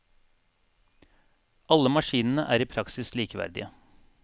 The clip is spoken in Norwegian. Alle maskinene er i praksis likeverdige.